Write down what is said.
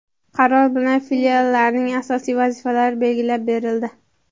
Qaror bilan Filiallarning asosiy vazifalari belgilab berildi.